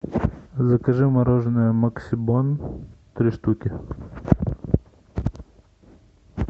закажи мороженое максибон три штуки